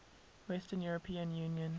western european union